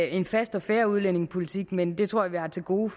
en fast og fair udlændingepolitik men det tror jeg vi har til gode